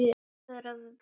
Svaraðu bara.